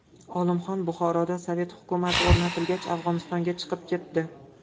Olimxon Buxoroda sovet hukumati o‘rnatilgach, Afg‘onistonga chiqib ketdi.